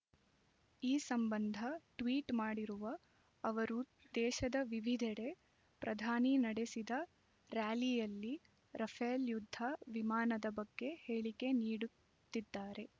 ಈ ಸಂಬಂಧ ಟ್ವೀಟ್ ಮಾಡಿರುವ ಅವರು ದೇಶದ ವಿವಿಧೆಡೆ ಪ್ರಧಾನಿ ನಡೆಸಿದ ರ್‍ಯಾಲಿಯಲ್ಲಿ ರಫೇಲ್ ಯುದ್ಧ ವಿಮಾನದ ಬಗ್ಗೆ ಹೇಳಿಕೆ ನೀಡು ತ್ತಿದ್ದಾರೆ